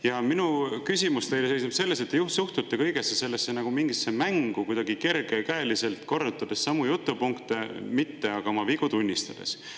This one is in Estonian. Ja minu küsimus teile seisneb selles, et te suhtute kõigesse sellesse nagu mingisse mängu, kuidagi kergekäeliselt, korrutades samu jutupunkte, mitte aga oma vigu tunnistades.